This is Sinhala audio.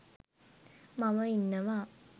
මම ඉන්නවා